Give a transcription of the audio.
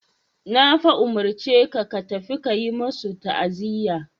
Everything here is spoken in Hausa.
Na fa umurce ka ka tafi ka yi masu ta'aziya.